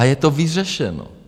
A je to vyřešeno.